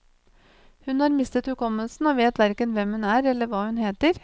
Hun har mistet hukommelsen, og vet hverken hvem hun er eller hva hun heter.